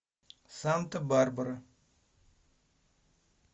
санта барбара